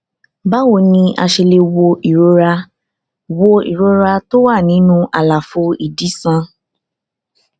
báwo ni a ṣe lè wo ìrora wo ìrora tó wà nínú àlàfo ìdí sàn